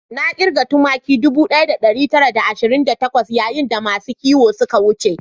Na kirga tumaki ɗubu ɗaya da ɗari tara da ashirin da takwas yayin da masu kiwo suka wuce